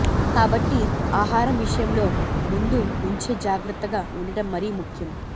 కాబట్టి ఆహారం విషయంలో ముందు నుంచే జాగ్రత్తగా ఉండటం మరీ ముఖ్యం